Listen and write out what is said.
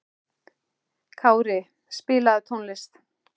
Kári, spilaðu tónlist.